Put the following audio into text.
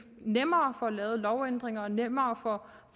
nemmere får lavet lovændringer og nemmere